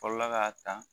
Fɔlɔla k'a ta